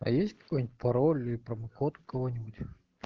а есть какой-нибудь пароль иди промокод у кого-нибудь